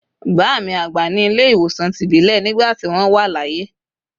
Baami agba ni ile iwosàn tibilé nigbá ti wón wa laye